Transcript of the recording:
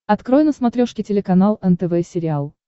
открой на смотрешке телеканал нтв сериал